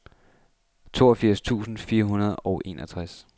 toogfirs tusind fire hundrede og enogtres